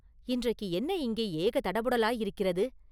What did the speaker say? இன்றைக்கு என்ன இங்கே ஏகதடபுடலாயிருக்கிறது?